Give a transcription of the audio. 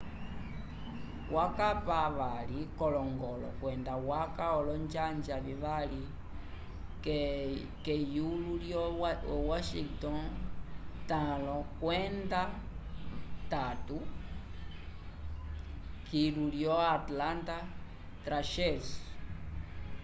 wakapa 2 k'olongolo kwenda waca olonjanja vivali k'eyulo lyo washington 5-3 kilu lyo atlanta thrashers